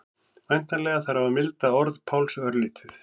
Væntanlega þarf að milda orð Páls örlítið.